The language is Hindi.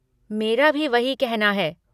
मेरा भी वही कहना है।